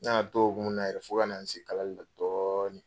Ne y'a to o hokumu na yɛrɛ fo ka nana n se kalali la dɔɔnin.